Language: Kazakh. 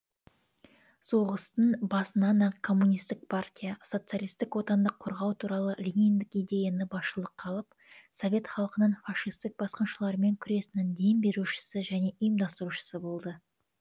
соғыстың басынан ақ коммунистік партия социалистік отанды қорғау туралы лениндік идеяны басшылыққа алып совет халқының фашистік басқыншылармен күресінің дем берушісі және ұйымдастырушысы болды